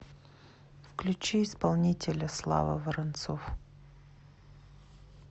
включи исполнителя слава воронцов